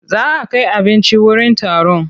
Za a kai abinci wurin taron.